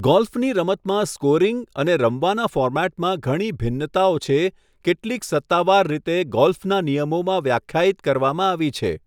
ગોલ્ફની રમતમાં સ્કોરિંગ અને રમવાના ફોર્મેટમાં ઘણી ભિન્નતાઓ છે, કેટલીક સત્તાવાર રીતે ગોલ્ફના નિયમોમાં વ્યાખ્યાયિત કરવામાં આવી છે.